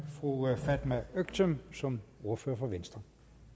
fru fatma øktem som ordfører for venstre